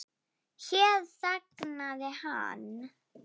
Hér þagnaði hann.